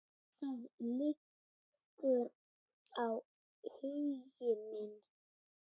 Þar liggur áhugi minn.